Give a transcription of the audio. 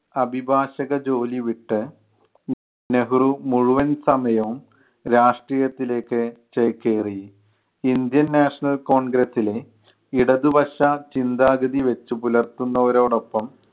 അഭിഭാഷക ജോലി വിട്ട് നെഹ്‌റു മുഴുവൻ സമയവും രാഷ്ട്രീയത്തിലേക്ക് ചേക്കേറി. indian national congress ലെ ഇടതുപക്ഷ ചിന്താഗതി വച്ചുപുലർത്തുന്നവരോടൊപ്പം